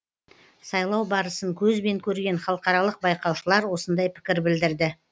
сайлау барысын көзбен көрген халықаралық байқаушылар осындай пікір білдірді